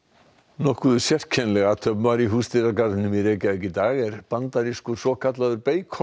nokkuð sérkennileg athöfn var í Húsdýragarðinum í Reykjavík í dag er bandarískur svokallaður